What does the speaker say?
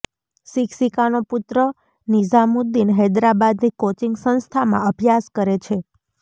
શિક્ષિકાનો પુત્ર નિઝામુદ્દીન હૈદરાબાદની કોચિંગ સંસ્થામાં અભ્યાસ કરે છે